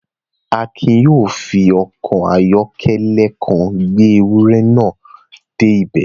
Akin yóò fi ọkọ̀ ayọ́kẹ́lẹ́ kan gbé ewúrẹ́ náà dé ibẹ̀